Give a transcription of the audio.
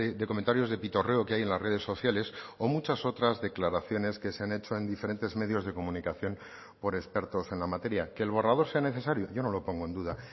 de comentarios de pitorreo que hay en las redes sociales o muchas otras declaraciones que se han hecho en diferentes medios de comunicación por expertos en la materia que el borrador sea necesario yo no lo pongo en duda